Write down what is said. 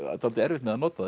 dálítið erfitt með að nota það